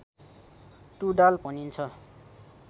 टुँडाल भनिन्छ